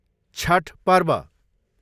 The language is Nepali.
छठ पर्व